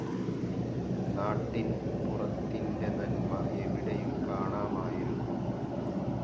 നാട്ടിൻ പുറത്തിന്റെ നന്മ എവിടെയും കാണാമായിരുന്നു.